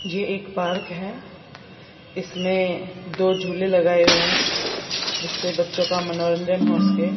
यह एक पार्क है इसमें दो झूले लगाए हुए हैं जिस से बच्चों का मनोरंजन हो सके।